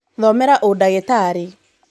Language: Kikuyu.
Thomera ũdagĩtarĩ.